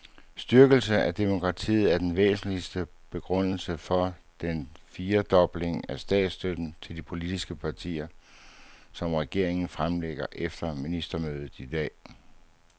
Styrkelse af demokratiet er den væsentligste begrundelse for den firedobling af statsstøtten til de politiske partier, som regeringen fremlægger efter ministermødet i dag.